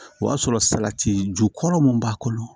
O y'a sɔrɔ salati jukɔrɔ mun b'a kɔnɔ